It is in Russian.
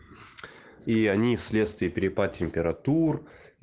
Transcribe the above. и они вследствие перепад температур